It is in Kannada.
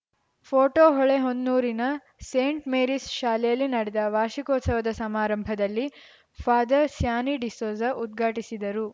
ಪೋಟೋ ಹೊಳೆಹೊನ್ನೂರಿನ ಸೇಂಟ್‌ ಮೇರೀಸ್‌ ಶಾಲೆಯಲ್ಲಿ ನಡೆದ ವಾರ್ಷಿಕೋತ್ಸವದ ಸಮಾರಂಭದಲ್ಲಿ ಫಾದರ್‌ ಸ್ಯಾನಿ ಡಿಸೋಜ ಉದ್ಘಾಟಿಸಿದರು